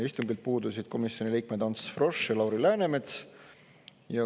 Istungilt puudusid komisjoni liikmed Ants Frosch ja Lauri Läänemets.